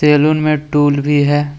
Salon में tool भी है।